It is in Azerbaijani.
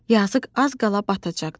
Yazıq az qala batacaqdı.